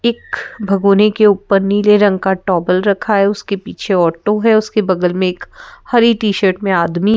एक भगोने के ऊपर नीले रंग का टॉवेल रखा है उसके पीछे ऑटो है उसके बगल में एक हरी टी-शर्ट में आदमी--